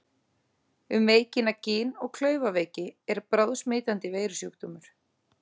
Um veikina Gin- og klaufaveiki er bráðsmitandi veirusjúkdómur.